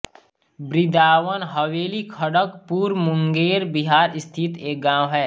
बिन्द्राबन हवेलीखड़गपुर मुंगेर बिहार स्थित एक गाँव है